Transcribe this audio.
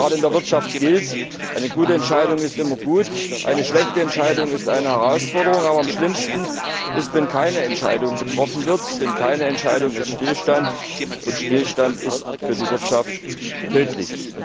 Denn gerade in der Wirtschaft gilt Eine gute Entscheidung ist immer gut, eine schlechte Entscheidung ist eine Herausforderung, aber am schlimmsten ist, wenn keine Entscheidung getroffen wird. Denn keine Entscheidung ist Stillstand, und Stillstand ist für die Wirtschaft tödlich.